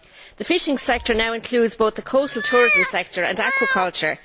The fishing sector now includes both the coastal tourism sector and aquaculture.